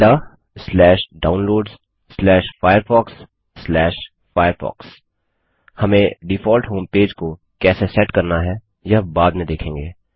tildedownloadsfirefoxफायरफॉक्स हम default homepage को कैसे सेट करना है यह बाद में देखेंगे